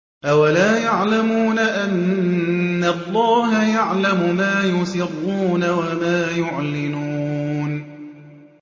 أَوَلَا يَعْلَمُونَ أَنَّ اللَّهَ يَعْلَمُ مَا يُسِرُّونَ وَمَا يُعْلِنُونَ